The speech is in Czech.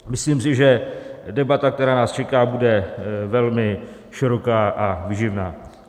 Myslím si, že debata, která nás čeká, bude velmi široká a výživná.